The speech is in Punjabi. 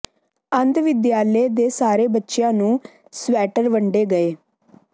ਅੰਧ ਵਿਦਿਆਲਯ ਦੇ ਸਾਰੇ ਬੱਚਿਆਂ ਨੂੰ ਸਵੈਟਰ ਵੰਡੇ ਗਏ